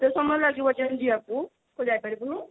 କେତେ ସମୟ ଲାଗିବ ଯେ ଏମତି ଯିବାକୁ ତୁ ଯାଇପାରିବୁନୁ